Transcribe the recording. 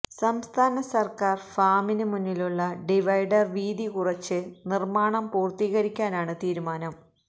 സംസ്ഥാന സര്ക്കാര് ഫാമിന് മുന്നിലുള്ള ഡിവൈഡര് വീതി കുറച്ച് നിര്മ്മാണം പൂര്ത്തീകരിക്കാനാണ് തീരുമാനം